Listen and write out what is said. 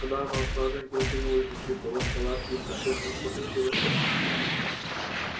когда она ушла женька застегнул изнутри полог палатки и спросил ну что случилось-то